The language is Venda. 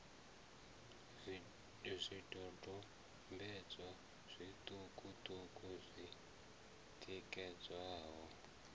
zwidodombedzwa zwiṱuku ṱuku zwi tikedzaho